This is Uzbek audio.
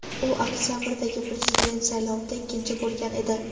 U oktabrdagi prezident saylovida ikkinchi bo‘lgan edi.